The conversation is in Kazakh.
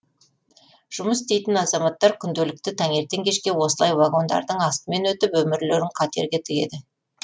жұмыс істейтін азаматтар күнделікті таңертең кешке осылай вагондардың астымен өтіп өмірлерін қатерге тігеді